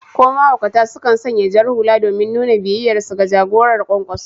Ko mahaukata sukan sanya jar hula domin nuna biyayyarsu ga jagorar Kwankwaso.